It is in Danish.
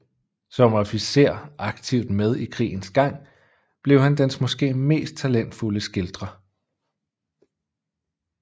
Som officer aktivt med i krigens gang blev han dens måske mest talentfulde skildrer